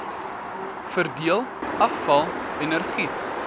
verdeel afval energie